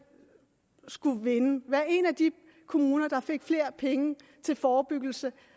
skulle være en af de kommuner der fik flere penge til forebyggelse